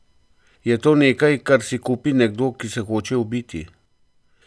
Je to nekaj, kar si kupi nekdo, ki se hoče ubiti?